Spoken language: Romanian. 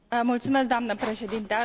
Mulțumesc, doamnă președinte.